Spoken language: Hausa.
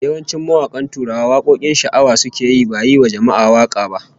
Yawancin mawakan Tuwara wakokin sha'awa suke yi, ba yiwa jama'a waka ba